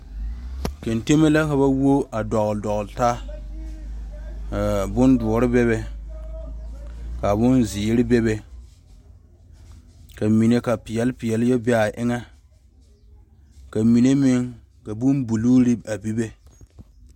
Gantɛmɛ la ka ba woɔ la dɔgle dɔgle taa bondoɔre bebe ka bonziiri bebe ka mine ka peɛle peɛle be a eŋa ka mine meŋ ka bonbuluu a bebe.